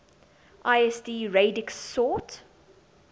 lsd radix sort